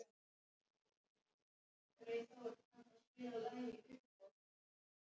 Hún er að skýla sér á bak við vínið.